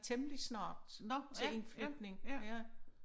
Temmelig snart nok til indflytning